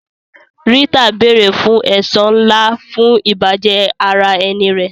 Rita béèrè fún ẹ̀san ńlá fún ìbàjẹ́ ara ẹni rẹ̀.